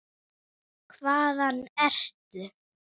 Hvaðan ertu?